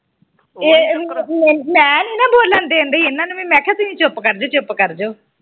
ਮੈ ਨਹੀਂ ਨਾ ਬੋਲਣ ਦੇਣ ਦੀ ਇਹਨਾਂ ਨੂੰ ਵੀ ਮੈ ਕਿਹਾ ਤੁਹੀ ਚੁੱਪ ਕਰਜੋ ਚੁੱਪ ਕਰਜੋ